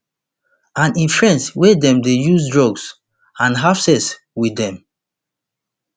and im friends wia dem dey use drugs and have sex with dem